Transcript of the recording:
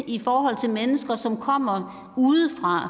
i forhold til mennesker som kommer udfra